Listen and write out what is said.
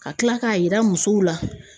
Ka kila k'a jira musow la.